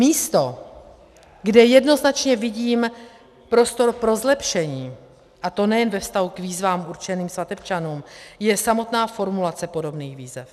Místo, kde jednoznačně vidím prostor pro zlepšení, a to nejen ve vztahu k výzvám určeným svatebčanům, je samotná formulace podobných výzev.